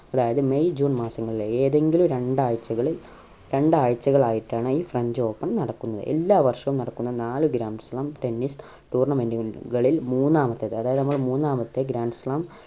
അതായത് May June മാസങ്ങളിലെ ഏതെങ്കിലും രണ്ടാഴ്ചളിൽ രണ്ടാഴ്ചകളായിട്ടാണ് ഈ french open നടക്കുന്നത് എല്ലാ വർഷവും നടക്കുന്ന നാല് grand slamtennis tournament കൾ കളിൽ മൂന്നാമത്തെ അതായത് നമ്മളെ മൂന്നാമത്തെ grand slam